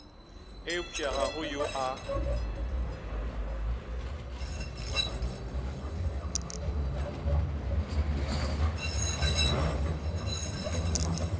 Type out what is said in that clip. eupša ga go yo a